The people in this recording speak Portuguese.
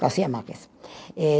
Garcia Márquez. Eh